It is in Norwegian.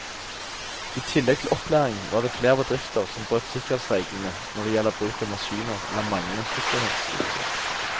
I tillegg til opplæring var det flere bedrifter som brøt sikkerhetsreglene når det gjelder bruk av maskiner eller manglende sikkerhetsutstyr.